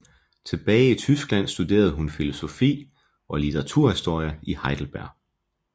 Tilbage i Tyskland studerede hun filosofi og litteraturhistorie i Heidelberg